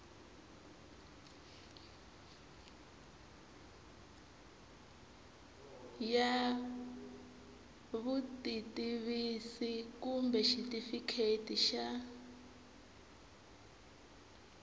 ya vutitivisi kumbe xitifiketi xa